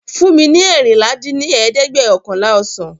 fún mi ní eérinlá dín ní ẹ̀ẹ́dẹ́gbẹ́ọ̀kànlá ọsàn!